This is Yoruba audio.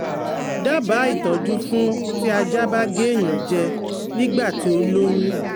Dábàá ìtọ́jú fún ti ajá ba ge eyan je nígbà tí ó lóyún